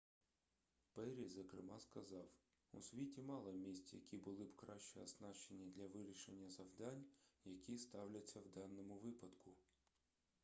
перрі зокрема сказав у світі мало місць які були б краще оснащені для вирішення завдань які ставляться в даному випадку